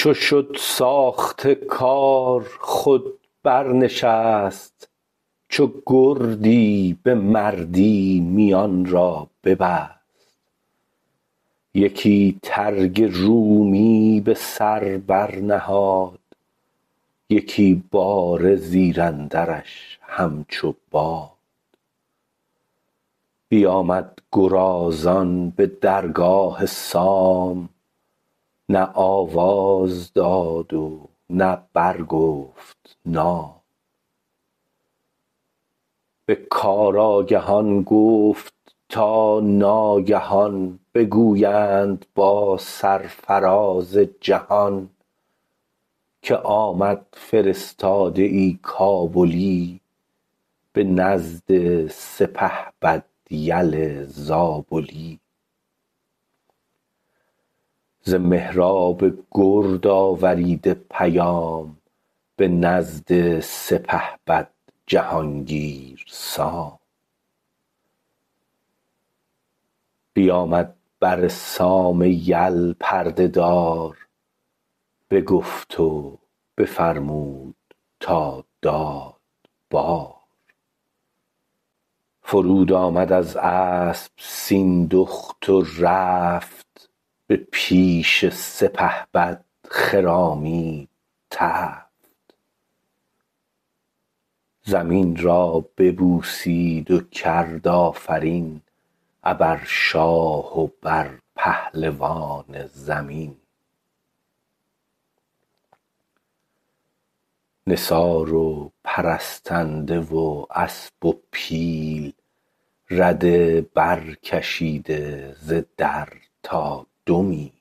چو شد ساخته کار خود بر نشست چو گردی به مردی میان را ببست یکی ترگ رومی به سر بر نهاد یکی باره زیراندرش همچو باد بیامد گرازان به درگاه سام نه آواز داد و نه برگفت نام به کار آگهان گفت تا ناگهان بگویند با سرفراز جهان که آمد فرستاده ای کابلی به نزد سپهبد یل زابلی ز مهراب گرد آوریده پیام به نزد سپهبد جهانگیر سام بیامد بر سام یل پرده دار بگفت و بفرمود تا داد بار فرود آمد از اسپ سیندخت و رفت به پیش سپهبد خرامید تفت زمین را ببوسید و کرد آفرین ابر شاه و بر پهلوان زمین نثار و پرستنده و اسپ و پیل رده بر کشیده ز در تا دو میل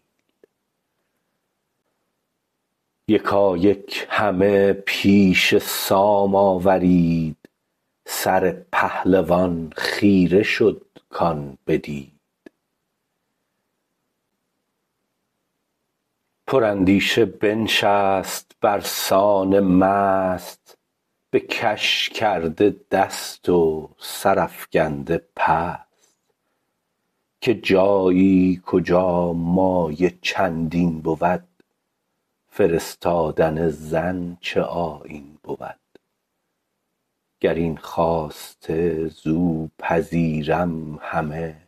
یکایک همه پیش سام آورید سر پهلوان خیره شد کان بدید پر اندیشه بنشست برسان مست بکش کرده دست و سرافگنده پست که جایی کجا مایه چندین بود فرستادن زن چه آیین بود گراین خواسته زو پذیرم همه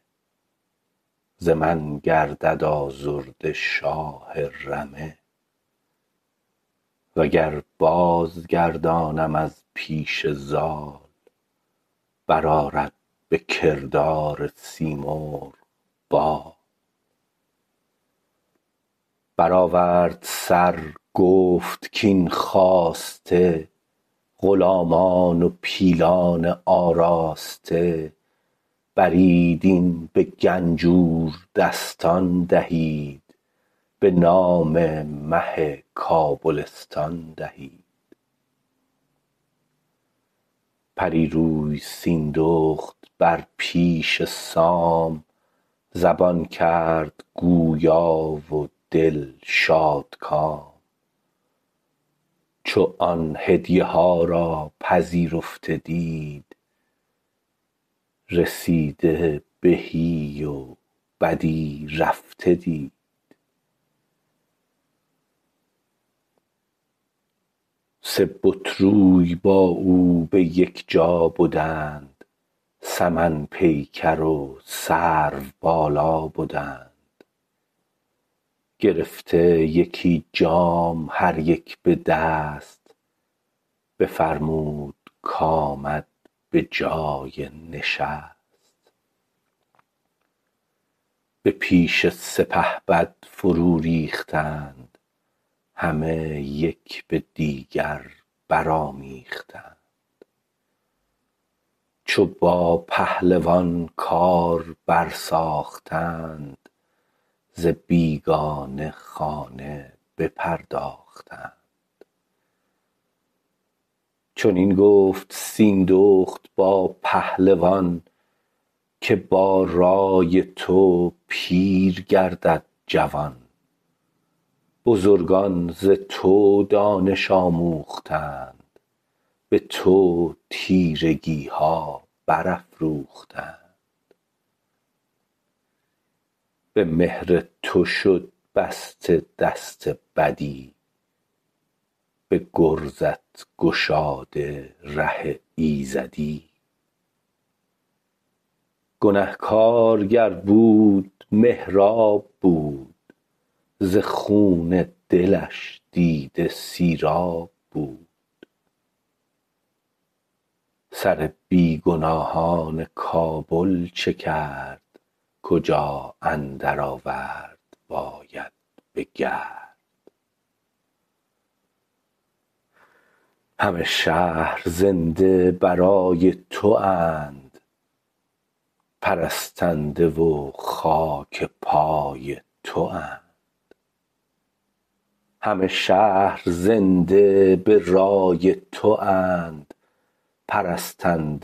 ز من گردد آزرده شاه رمه و گر بازگردانم از پیش زال برآرد به کردار سیمرغ بال برآورد سر گفت کاین خواسته غلامان و پیلان آراسته برید این به گنجور دستان دهید به نام مه کابلستان دهید پری روی سیندخت بر پیش سام زبان کرد گویا و دل شادکام چو آن هدیه ها را پذیرفته دید رسیده بهی و بدی رفته دید سه بت روی با او به یک جا بدند سمن پیکر و سرو بالا بدند گرفته یکی جام هر یک به دست بفرمود کامد به جای نشست به پیش سپهبد فرو ریختند همه یک به دیگر برآمیختند چو با پهلوان کار بر ساختند ز بیگانه خانه بپرداختند چنین گفت سیندخت با پهلوان که با رای تو پیر گردد جوان بزرگان ز تو دانش آموختند به تو تیرگیها برافروختند به مهر تو شد بسته دست بدی به گرزت گشاده ره ایزدی گنهکار گر بود مهراب بود ز خون دلش دیده سیراب بود سر بیگناهان کابل چه کرد کجا اندر آورد باید بگرد همه شهر زنده برای تواند پرستنده و خاک پای تواند ازان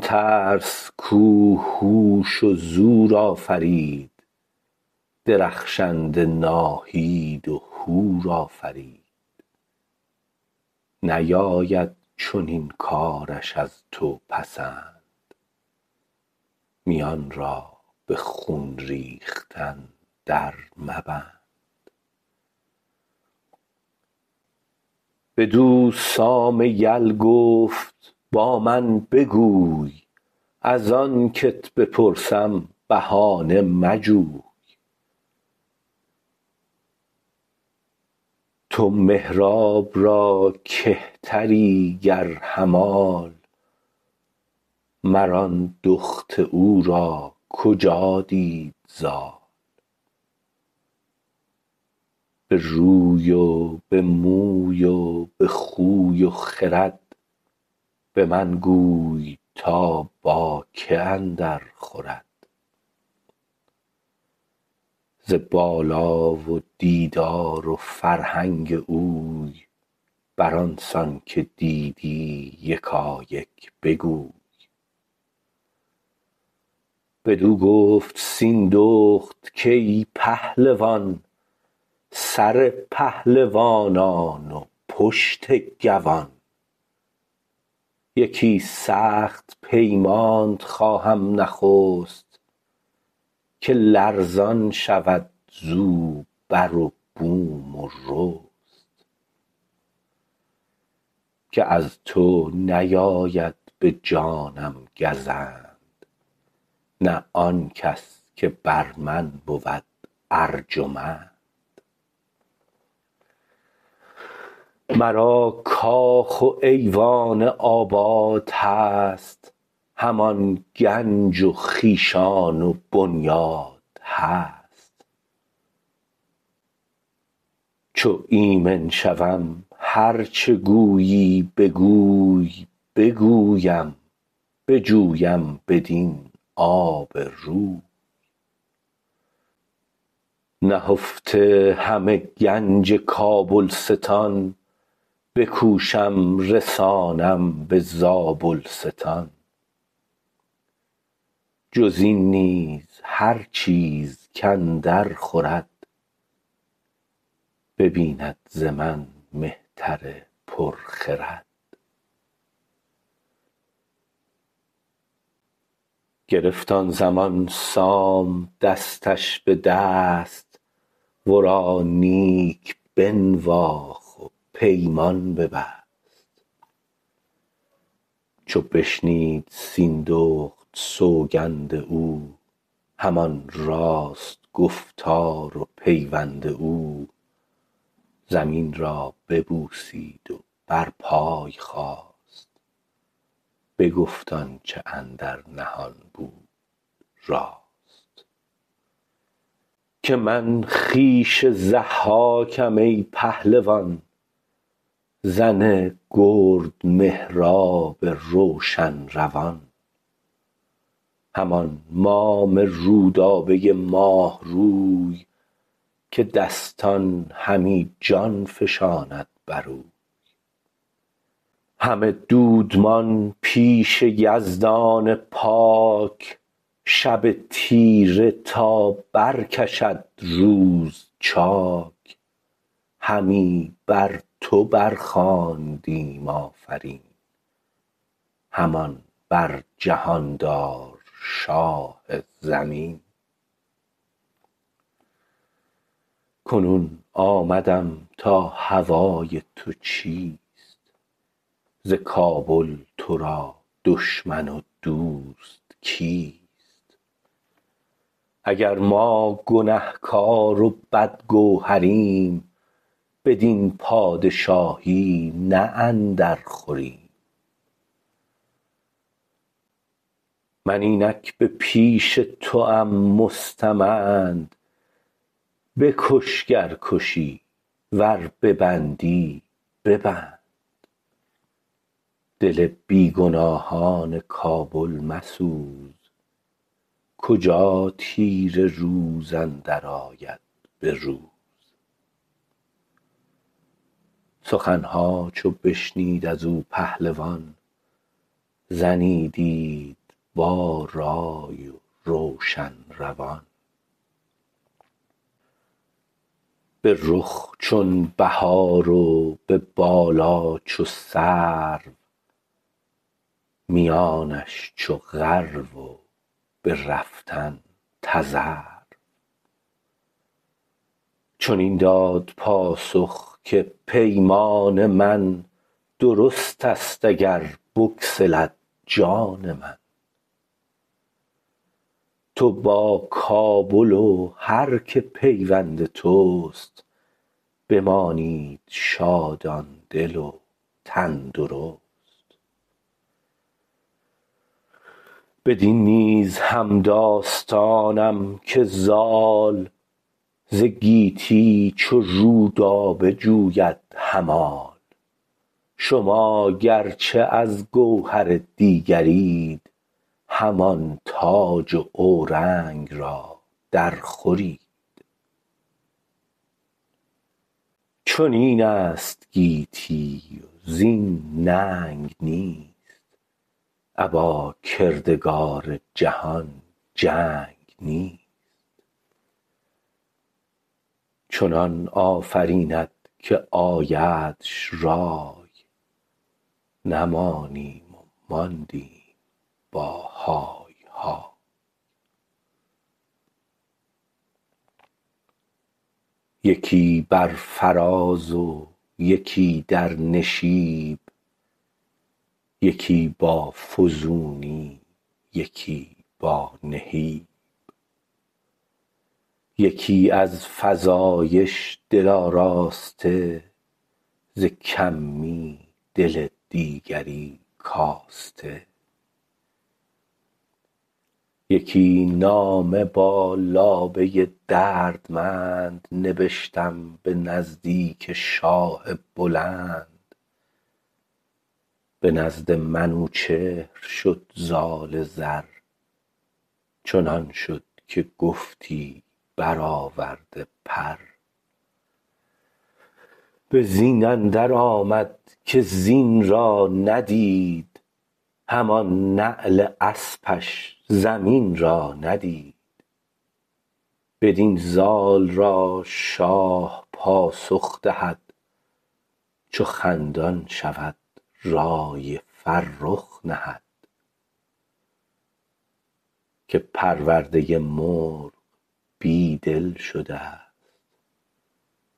ترس کو هوش و زور آفرید درخشنده ناهید و هور آفرید نیاید چنین کارش از تو پسند میان را به خون ریختن در مبند بدو سام یل گفت با من بگوی ازان کت بپرسم بهانه مجوی تو مهراب را کهتری گر همال مر آن دخت او را کجا دید زال به روی و به موی و به خوی و خرد به من گوی تا باکی اندر خورد ز بالا و دیدار و فرهنگ اوی بران سان که دیدی یکایک بگوی بدو گفت سیندخت کای پهلوان سر پهلوانان و پشت گوان یکی سخت پیمانت خواهم نخست که لرزان شود زو بر و بوم و رست که از تو نیاید به جانم گزند نه آنکس که بر من بود ارجمند مرا کاخ و ایوان آباد هست همان گنج و خویشان و بنیاد هست چو ایمن شوم هر چه گویی بگوی بگویم بجویم بدین آب روی نهفته همه گنج کابلستان بکوشم رسانم به زابلستان جزین نیز هر چیز کاندر خورد ببیند ز من مهتر پر خرد گرفت آن زمان سام دستش به دست ورا نیک بنواخت و پیمان ببست چو بشنید سیندخت سوگند او همان راست گفتار و پیوند او زمین را ببوسید و بر پای خاست بگفت آنچه اندر نهان بود راست که من خویش ضحاکم ای پهلوان زن گرد مهراب روشن روان همان مام رودابه ماه روی که دستان همی جان فشاند بروی همه دودمان پیش یزدان پاک شب تیره تا برکشد روز چاک همی بر تو بر خواندیم آفرین همان بر جهاندار شاه زمین کنون آمدم تا هوای تو چیست ز کابل ترا دشمن و دوست کیست اگر ما گنهکار و بدگوهریم بدین پادشاهی نه اندر خوریم من اینک به پیش توام مستمند بکش گر کشی ور ببندی ببند دل بیگناهان کابل مسوز کجا تیره روز اندر آید به روز سخنها چو بشنید ازو پهلوان زنی دید با رای و روشن روان به رخ چون بهار و به بالا چو سرو میانش چو غرو و به رفتن تذرو چنین داد پاسخ که پیمان من درست است اگر بگسلد جان من تو با کابل و هر که پیوند تست بمانید شادان دل و تن درست بدین نیز همداستانم که زال ز گیتی چو رودابه جوید همال شما گرچه از گوهر دیگرید همان تاج و اورنگ را در خورید چنین است گیتی وزین ننگ نیست ابا کردگار جهان جنگ نیست چنان آفریند که آیدش رای نمانیم و ماندیم با های های یکی بر فراز و یکی در نشیب یکی با فزونی یکی با نهیب یکی از فزایش دل آراسته ز کمی دل دیگری کاسته یکی نامه با لابه دردمند نبشتم به نزدیک شاه بلند به نزد منوچهر شد زال زر چنان شد که گفتی برآورده پر به زین اندر آمد که زین را ندید همان نعل اسپش زمین را ندید بدین زال را شاه پاسخ دهد چو خندان شود رای فرخ نهد که پرورده مرغ بی دل شدست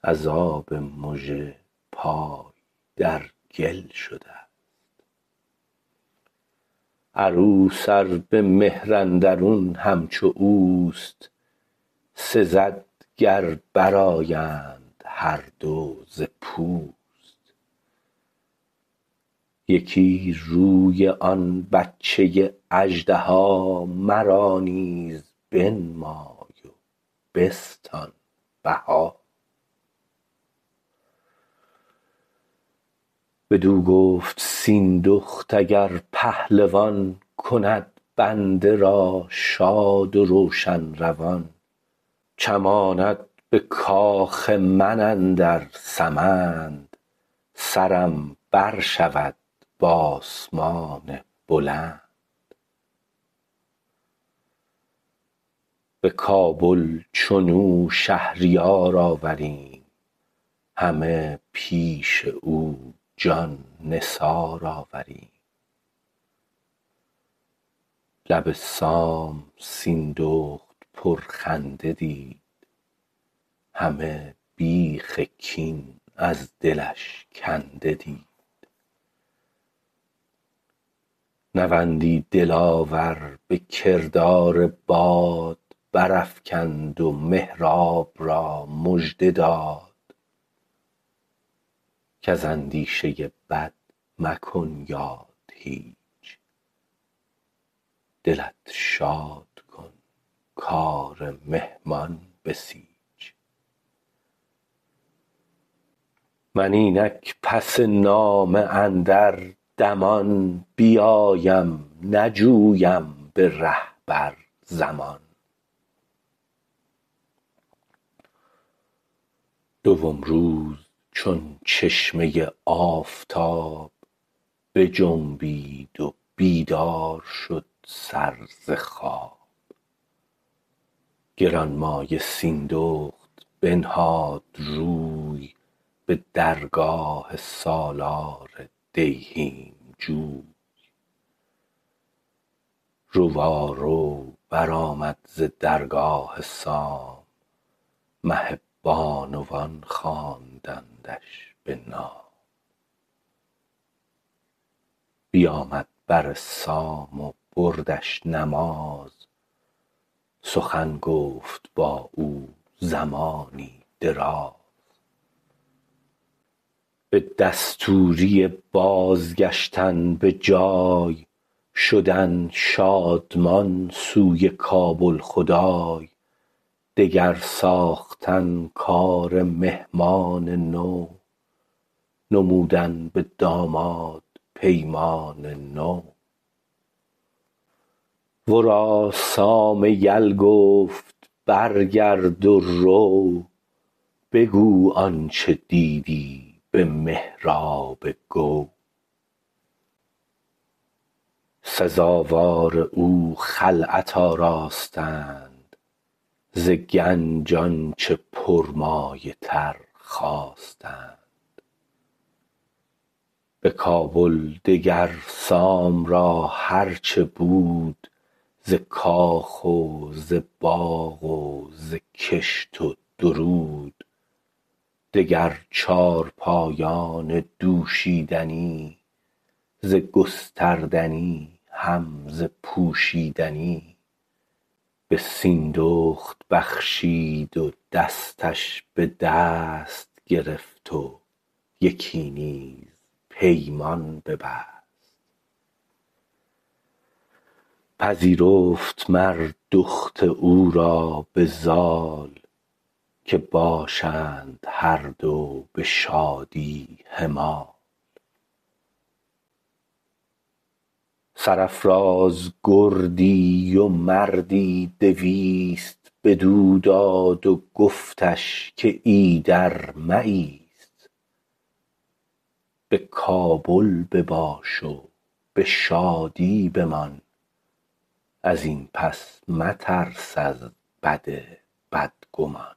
از آب مژه پای در گل شدست عروس ار به مهر اندرون همچو اوست سزد گر برآیند هر دو ز پوست یکی روی آن بچه اژدها مرا نیز بنمای و بستان بها بدو گفت سیندخت اگر پهلوان کند بنده را شاد و روشن روان چماند به کاخ من اندر سمند سرم بر شود به آسمان بلند به کابل چنو شهریار آوریم همه پیش او جان نثار آوریم لب سام سیندخت پرخنده دید همه بیخ کین از دلش کنده دید نوندی دلاور به کردار باد برافگند و مهراب را مژده داد کز اندیشه بد مکن یاد هیچ دلت شاد کن کار مهمان بسیچ من اینک پس نامه اندر دمان بیایم نجویم به ره بر زمان دوم روز چون چشمه آفتاب بجنبید و بیدار شد سر ز خواب گرانمایه سیندخت بنهاد روی به درگاه سالار دیهیم جوی روارو برآمد ز درگاه سام مه بانوان خواندندش به نام بیامد بر سام و بردش نماز سخن گفت بااو زمانی دراز به دستوری بازگشتن به جای شدن شادمان سوی کابل خدای دگر ساختن کار مهمان نو نمودن به داماد پیمان نو ورا سام یل گفت برگرد و رو بگو آنچه دیدی به مهراب گو سزاوار او خلعت آراستند ز گنج آنچه پرمایه تر خواستند بکابل دگر سام را هر چه بود ز کاخ و زباغ و زکشت و درود دگر چارپایان دوشیدنی ز گستردنی هم ز پوشیدنی به سیندخت بخشید و دستش بدست گرفت و یکی نیز پیمان ببست پذیرفت مر دخت او را بزال که باشند هر دو بشادی همال سرافراز گردی و مردی دویست بدو داد و گفتش که ایدر مایست به کابل بباش و به شادی بمان ازین پس مترس از بد بدگمان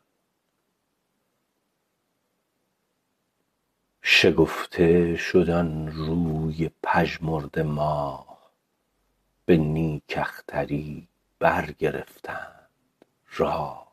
شگفته شد آن روی پژمرده ماه به نیک اختری برگرفتند راه